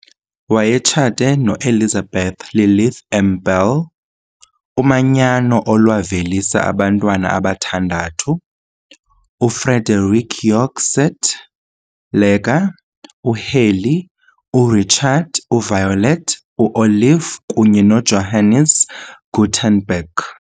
wayetshate noElizabeth Lilith M'belle, umanyano olwavelisa abantwana abathandathu - uFrederick York St Leger, uHalley, uRichard, Violet, uOlive kunye noJohannes Gutenberg.